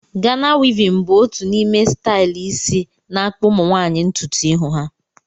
Gana wivin bụ otu n’ime stailu isi na-akpụ Ụmụnwaanyị ntutu ihu ha